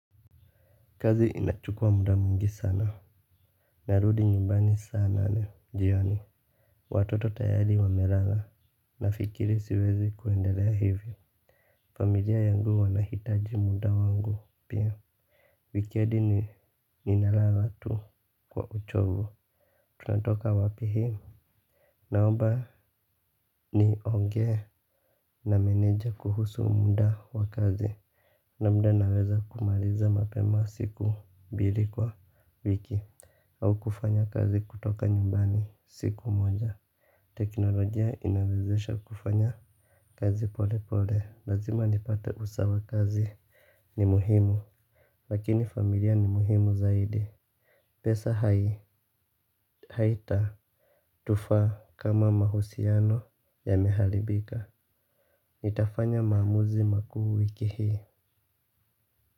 Kazi inachukua muda mwingi sana. Narudi nyumbani saa nane jioni. Watoto tayari wamelala. Nafikiri siwezi kuendelea hivyo. Familia yangu wanahitaji muda wangu pia. Wikedi ni ninalala tu kwa uchovu. Tunatoka wapi hii? Naoba niongee na meneja kuhusu mda wa kazi. Na mda naweza kumaliza mapema siku bili kwa wiki. Au kufanya kazi kutoka nyumbani siku moja. Teknolojia inawezesha kufanya kazi polepole. Lazima nipate usawa kazi ni muhimu. Lakini familia ni muhimu zaidi. Pesa haitatufaa kama mahusiano yamehalibika. Nitafanya maamuzi makuu wiki hii.